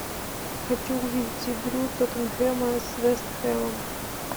хочу увидеть игру тоттенхэма с вест хэмом